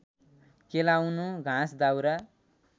केलाउनु घाँस दाउरा